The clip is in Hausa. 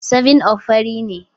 7up fari ne.